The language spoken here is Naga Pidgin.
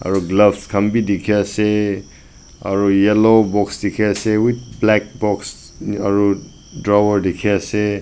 aro gloves khan b dikey ase aro yellow box dikey ase with black box aro drawer dikey ase.